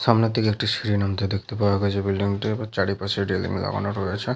সামনের দিকে একটি সিঁড়ি নামতে দেখতে পাওয়া গেছে বিল্ডিং -টির আবার চারিপাশে রেলিং লাগানো রয়েছে ।